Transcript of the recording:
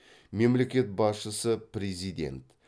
мемлекет басшысы президент